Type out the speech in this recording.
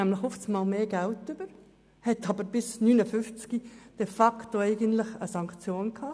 Eine solche erhält nämlich plötzlich mehr Geld, doch sie hätte bis 59 eigentlich eine Sanktion gehabt.